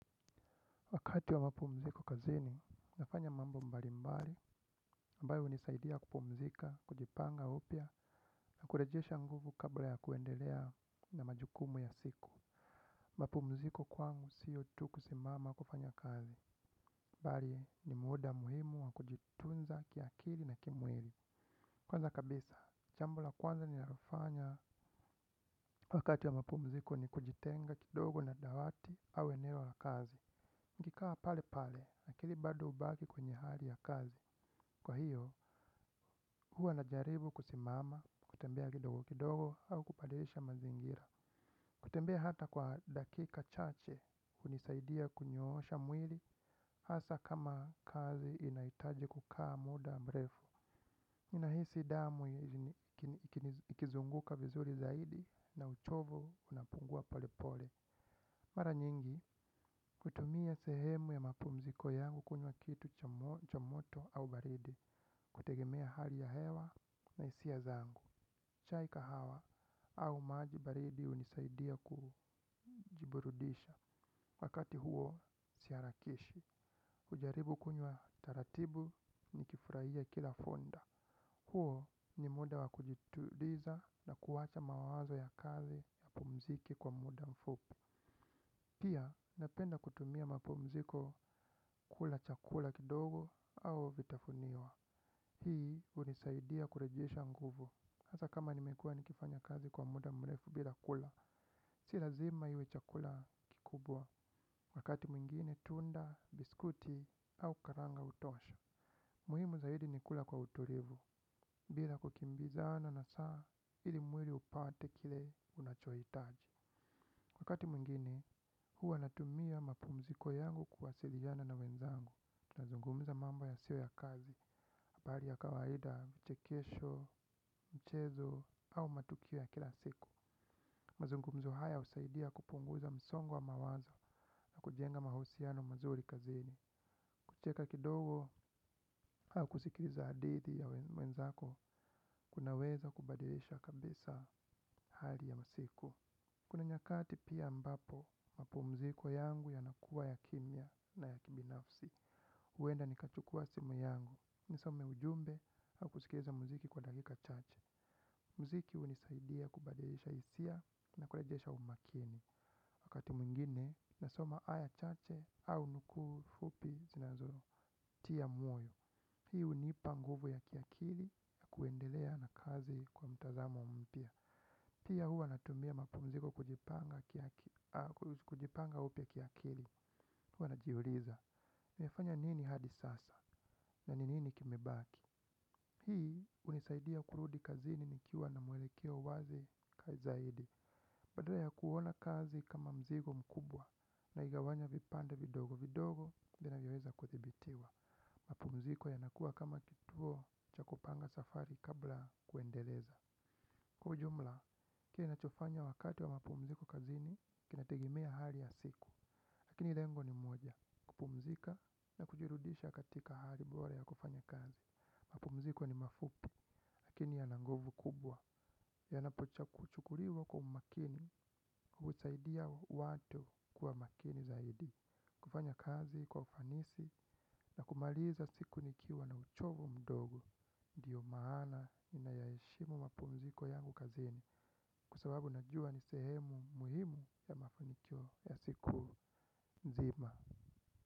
Wakati wa mapumziko kazini, nafanya mambo mbalimbali, ambayo hunisaidia kupumzika, kujipanga upya, na kurejesha nguvu kabla ya kuendelea na majukumu ya siku. Mapumziko kwangu sio tu kusimama kufanya kazi. Bali ni muda muhimu wa kujitunza kiakili na kimwili. Kwanza kabisa, jambo la kwanza ninalofanya. Wakati wa mapumziko ni kujitenga kidogo na dawati au eneo la kazi. Nikikaa pale pale, akili bado hubaki kwenye hali ya kazi. Kwa hiyo, huwa najaribu kusimama, kutembea kidogo kidogo, au kubadilisha mazingira. Kutembea hata kwa dakika chache, hunisaidia kunyoosha mwili, hasa kama kazi inaitaji kukaa muda mrefu. Nahisi damu ikizunguka vizuri zaidi na uchovu unapungua pole pole. Mara nyingi, kutumia sehemu ya mapumziko yangu kunywa kitu cha moto au baridi, hutegemea hali ya hewa na hisia zangu. Chai kahawa au maji baridi hunisaidia kujiburudisha wakati huo siharakishi. Ujaribu kunywa taratibu nikifurahia kila funda. Huo ni muda wa kujituliza na kuwacha mawazo ya kazi yapumzike kwa muda mfupi. Pia napenda kutumia mapumziko kula chakula kidogo au vitafuniwa. Hii hunisaidia kurejesha nguvu. Hasa kama nimekuwa nikifanya kazi kwa muda mrefu bila kula. Si lazima iwe chakula kikubwa. Wakati mwingine tunda, biskuti au karanga hutosha. Muhimu zaidi ni kula kwa utulivu. Bila kukimbizana na saa ili mwili upate kile unachohitaji wakati mwingine, huwa natumia mapumziko yangu kuwasiliana na wenzangu. Tunazungumza mambo yasiyo ya kazi, habari ya kawaida, uchekesho, mchezo, au matukio ya kila siku. Mazungumzo haya husaidia kupunguza msongo wa mawazo na kujenga mahusiano mazuri kazini. Kucheka kidogo au kusikiliza hadithi ya wenzako, kunaweza kubadilisha kabisa hali ya masiku. Kuna nyakati pia ambapo, mapumziko yangu yanakuwa ya kimya na ya kibinafsi. Huenda nikachukua simu yangu, nisome ujumbe au kusikiliza muziki kwa dakika chache. Muziki hunisaidia kubadilisha hisia na kurejesha umakini. Wakati mwingine, nasoma aya chache au nuku fupi zinazotia moyo. Hii hunipa nguvu ya kiakili ya kuendelea na kazi kwa mtazamo mpya. Pia huwa natumia mapumziko kujipanga upya kiakili. Huwa najiuliza nimefanya nini hadi sasa. Na ni nini kimebaki. Hii hunisaidia kurudi kazini nikiwa na mwelekeo wazi zaidi. Badala ya kuona kazi kama mzigo mkubwa naigawanya vipande vidogo vidogo vinavyoweza kudhibitiwa. Mapumziko yanakuwa kama kituo cha kupanga safari kabla kuendeleza. Kiujumla kinachofanya wakati wa mapumziko kazini, kinategemea hali ya siku. Lakini lengo ni moja, kupumzika na kujirudisha katika hali bora ya kufanya kazi. Mapumziko ni mafupi, lakini yana nguvu kubwa. Yanapochukuliwa kwa umakini, husaidia watu kuwa makini zaidi. Kufanya kazi, kwa ufanisi, na kumaliza siku nikiwa na uchovu mdogo. Ndio maana ninayaheshimu mapumziko yangu kazini. Kwa sababu najua ni sehemu muhimu ya mafanikio ya siku nzima.